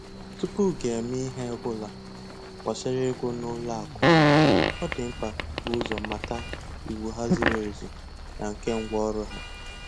Tupu gị emee ihe ọ bụla gbásárá ego n'ụlọ akụ, ọ dị mkpa I bu ụzọ mata iwu há ziri ezi na nke ngwa ọrụ ha